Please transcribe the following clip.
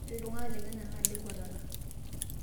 ore itung'anak le kenyaa naa ile nkuetata